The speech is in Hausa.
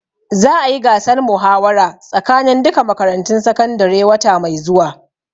Za a yi gasar muhawara tsakanin duka makarantun sakandare wata mai zuwa